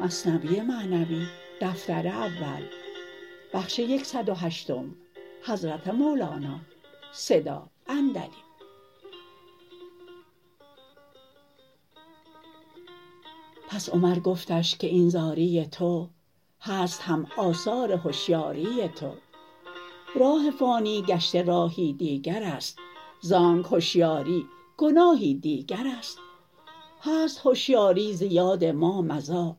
پس عمر گفتش که این زاری تو هست هم آثار هشیاری تو راه فانی گشته راهی دیگرست زانک هشیاری گناهی دیگرست هست هشیاری ز یاد ما مضی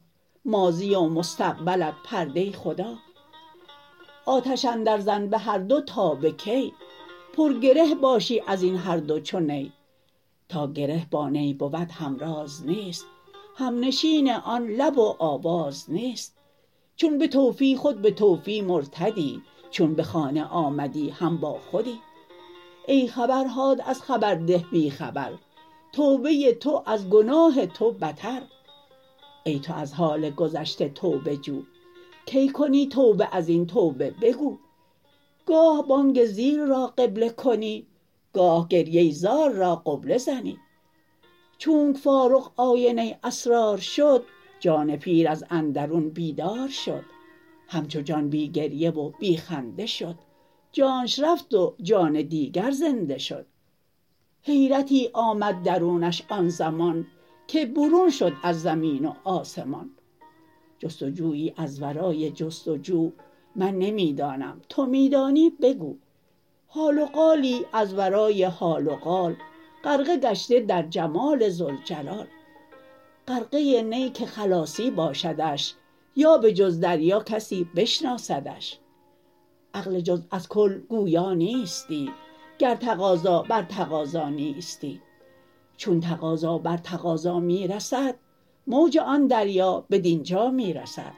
ماضی و مستقبلت پرده خدا آتش اندر زن بهر دو تا به کی پر گره باشی ازین هر دو چو نی تا گره با نی بود همراز نیست همنشین آن لب و آواز نیست چون بطوفی خود بطوفی مرتدی چون به خانه آمدی هم با خودی ای خبرهات از خبرده بی خبر توبه تو از گناه تو بتر ای تو از حال گذشته توبه جو کی کنی توبه ازین توبه بگو گاه بانگ زیر را قبله کنی گاه گریه زار را قبله زنی چونک فاروق آینه اسرار شد جان پیر از اندرون بیدار شد همچو جان بی گریه و بی خنده شد جانش رفت و جان دیگر زنده شد حیرتی آمد درونش آن زمان که برون شد از زمین و آسمان جست و جویی از ورای جست و جو من نمی دانم تو می دانی بگو حال و قالی از ورای حال و قال غرقه گشته در جمال ذوالجلال غرقه ای نه که خلاصی باشدش یا به جز دریا کسی بشناسدش عقل جزو از کل گویا نیستی گر تقاضا بر تقاضا نیستی چون تقاضا بر تقاضا می رسد موج آن دریا بدینجا می رسد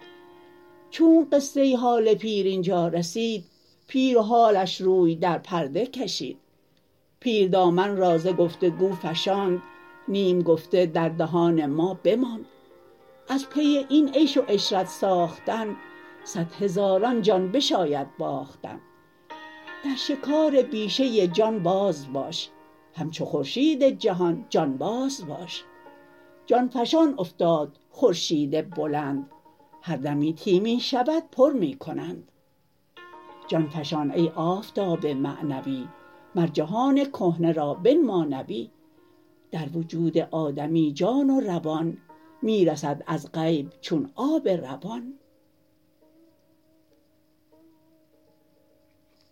چونک قصه حال پیر اینجا رسید پیر و حالش روی در پرده کشید پیر دامن را ز گفت و گو فشاند نیم گفته در دهان ما بماند از پی این عیش و عشرت ساختن صد هزاران جان بشاید باختن در شکار بیشه جان باز باش همچو خورشید جهان جان باز باش جان فشان افتاد خورشید بلند هر دمی تی می شود پر می کنند جان فشان ای آفتاب معنوی مر جهان کهنه را بنما نوی در وجود آدمی جان و روان می رسد از غیب چون آب روان